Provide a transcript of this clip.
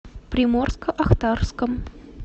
приморско ахтарском